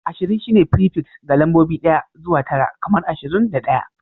Ashirin shine fripiks ga lambobi ɗaya zuwa tara kamar ashirin da ɗaya